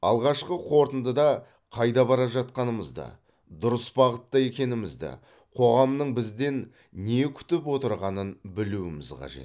алғашқы қорытындыда қайда бара жатқанымызды дұрыс бағытта екенімізді қоғамның бізден не күтіп отырғанын білуіміз қажет